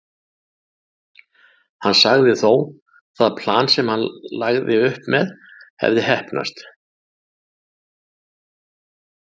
Hann sagði þó það plan sem hann hafði lagt upp með hafa heppnast.